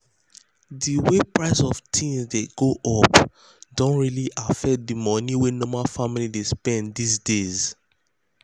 de way price of um things take go um up um don really affect de money wey normal family dey spend this days.